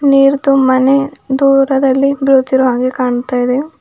ನೀರ್ ತುಂಬಾನೇ ದೂರದಲ್ಲಿ ಬೀಳುತ್ತಿರುವ ಹಾಗೆ ಕಾಣ್ತಾ ಇದೆ.